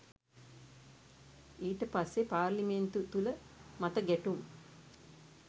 ඊටපස්සේ පාර්ලිමේන්තු තුල මත ගැ‍ටුම්